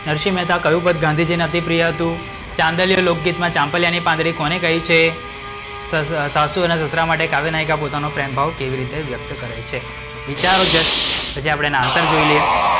નરશિહ મહેતા કયું પદ ગાંધીજી ને અતિપ્રિય હતું? ચાંદલીઓ લોકગીતમાં ચાંપલિયા ની પાંદડી કોને કહી છે? સાસુ અને સસરા માટે કાવ્ય નાયિકા પોતાનો પ્રેમભાવ કેવી રીતે વ્યક્ત કરે છે? વિચારો જસ્ટ પછી આપણે એના answer જોઈ લઈએ.